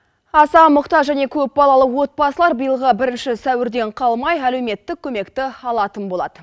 аса мұқтаж және көп балалы отбасылар биылғы бірінші сәуірден қалмай әлеуметтік көмекті алатын болады